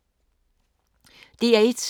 DR1